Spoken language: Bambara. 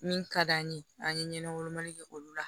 Min ka d'an ye an ye ɲɛnɛ wolomali kɛ olu la